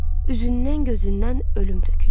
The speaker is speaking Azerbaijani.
Üzündən gözündən ölüm tökülürdü.